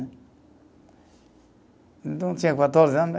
Então, tinha quatorze anos né.